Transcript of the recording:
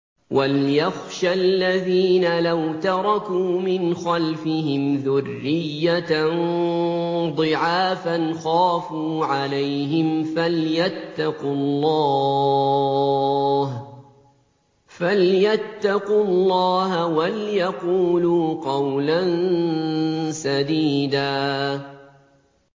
وَلْيَخْشَ الَّذِينَ لَوْ تَرَكُوا مِنْ خَلْفِهِمْ ذُرِّيَّةً ضِعَافًا خَافُوا عَلَيْهِمْ فَلْيَتَّقُوا اللَّهَ وَلْيَقُولُوا قَوْلًا سَدِيدًا